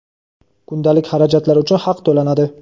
kundalik xarajatlar uchun haq to‘lanadi.